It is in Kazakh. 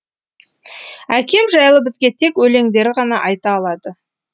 әкем жайлы бізге тек өлеңдері ғана айта алады